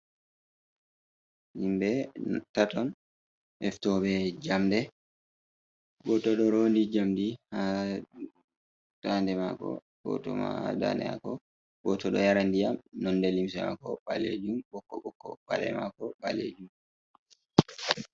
Himbe taton eftobe jamɗe. Goto ɗoronɗi jamɗi ha ɗa'aɗe mako go to ma ha ɗa'eɗe mako. Go to ɗo yara nɗiyam nonɗe limse mako balejum bokko bokko. paɗe mako balejum.